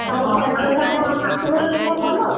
ଆଉ ତାଙ୍କ ଶାଶୁଘର ଲୋକ ଭଲ?